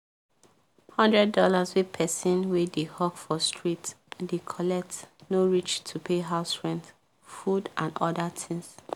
one hundred dollarswey person wey dey hawk for street dey collect no reach to pay houserent food and other things